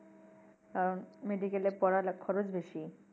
কারণ medical এ পড়ার খরচ বেশি।